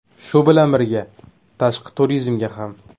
Shu bilan birga, tashqi turizmga ham.